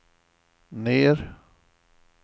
ner